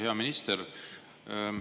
Hea minister!